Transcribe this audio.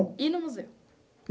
E no museu.